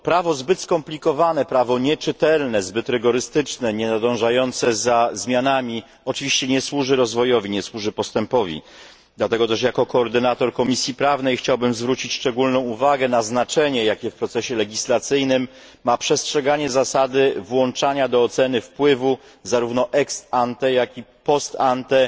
Prawo zbyt skomplikowane, prawo nieczytelne, zbyt rygorystyczne, nienadążające za zmianami oczywiście nie służy rozwojowi ani postępowi, dlatego też jako koordynator Komisji Prawnej chciałbym zwrócić szczególną uwagę na znaczenie, jakie w procesie legislacyjnym ma przestrzeganie zasady włączania do oceny wpływu, zarówno ex ante, jak i post ante,